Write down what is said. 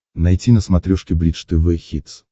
найти на смотрешке бридж тв хитс